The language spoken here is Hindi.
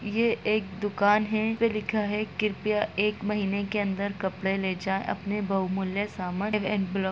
ये एक दुकान है उसपे लिखा है कृपया एक महीने के अंदर कपड़े ले जाए अपने बहुमूल्य सामान --